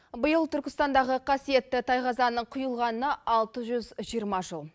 биыл түркістандағы қасиетті тайқазанның құйылғанына алты жүз жиырма жыл